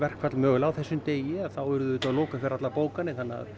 verkfall mögulega á þessum degi urðum við að loka fyrir allar bókanir